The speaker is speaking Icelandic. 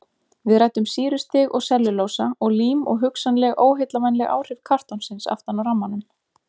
Við ræddum sýrustig og sellulósa og lím og hugsanleg óheillavænleg áhrif kartonsins aftan á rammanum.